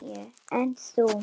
Níu, en þú?